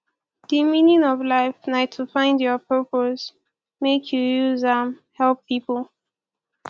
di meaning of life na to find your purpose make you use am help pipo